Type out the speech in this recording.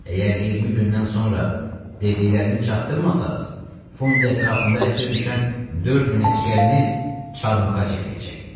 Əgər 20 gündən sonra dediklərimi çatdırmasaz, Funidə ətrafında əsir düşən 4 min əsgəriniz çarmıxa çəkiləcək.